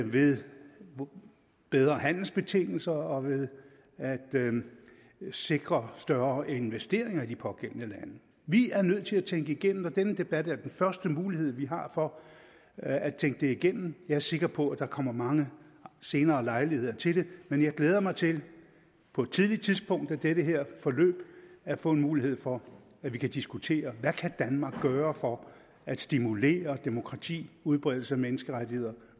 ved bedre handelsbetingelser og ved at sikre større investeringer i de pågældende lande vi er nødt til at tænke det igennem og denne debat er den første mulighed vi har for at tænke det igennem jeg er sikker på at der kommer mange senere lejligheder til det men jeg glæder mig til på et tidligt tidspunkt af det her forløb at få en mulighed for at vi kan diskutere hvad kan danmark gøre for at stimulere demokrati udbredelse af menneskerettigheder